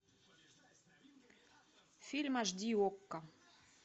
фильм аш ди окко